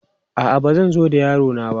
A'a, ba zan zo da yaro na ba.